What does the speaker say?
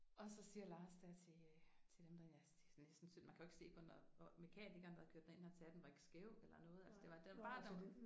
Og så siger Lars der til øh til dem der ja det er næsten synd man kan jo ikke se på den der er og mekanikeren der har kørt den derind han sagde den var ikke skæv eller noget altså det var der var bare at der